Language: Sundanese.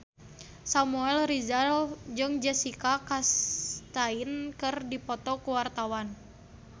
Samuel Rizal jeung Jessica Chastain keur dipoto ku wartawan